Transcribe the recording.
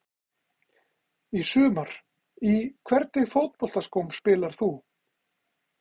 Í sumar Í hvernig fótboltaskóm spilar þú?